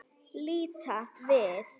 Líta við.